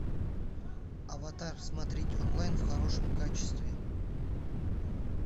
аватар смотреть онлайн в хорошем качестве